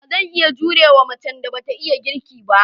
Ba zan iya jure wa macen da ba ta iya girki ba.